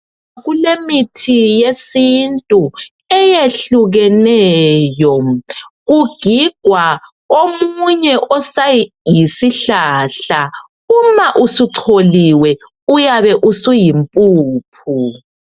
Kulemithi yesintu eyehlukeneyo kugigwa omunye osayisihlahlahla uma usucholiwe uyabe usuyi mpuphu